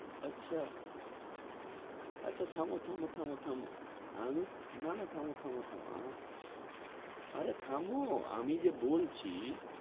আচ্ছা আচ্ছা থামো থামো থামো থামো আমি না না থামো থামো থামো অরে থামো আমি যে বলছি